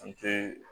An te